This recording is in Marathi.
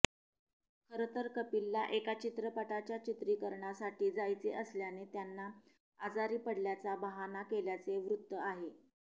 खरं तर कपिलला एका चित्रपटाच्या चित्रिकरणासाठी जायचे असल्याने त्यांना आजारी पडल्याचा बहाणा केल्याचे वृत्त आहे